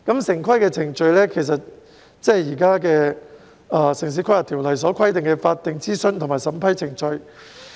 城市規劃程序就是現行的《城市規劃條例》所規定的法定諮詢和審批程序。